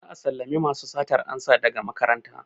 Za'a sallame masu satar amsa daga makaranta.